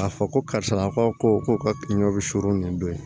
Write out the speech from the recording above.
K'a fɔ ko karisa ko ka pikiri suru nin don ye